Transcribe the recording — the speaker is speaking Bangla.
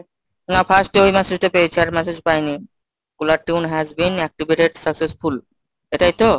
না first এ ওই message টা পেয়েছি আর message পাইনি। caller tune has been activated successful এটাই তো?